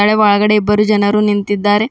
ಹಳೆ ಒಳಗಡೆ ಇಬ್ಬರು ಜನರು ನಿಂತಿದ್ದಾರೆ.